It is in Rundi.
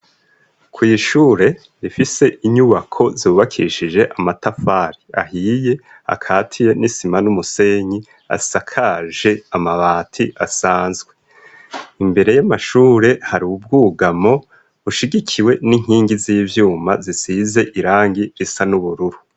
kw'ishure rifise inyubako zubakishije amatafari ahiye akatiye n'isima n'umusenyi asakaje amabati asanzwe, imbere y'amashure hari ubwugamo bushigikiwe n'inkingi z'ivyuma zisize irangi risa n'ubururu.